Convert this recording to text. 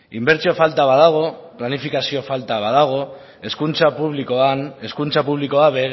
inbertsio falta bat dago planifikazio falta bat badago hezkuntza publikoan hezkuntza publikoak